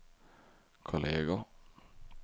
kolleger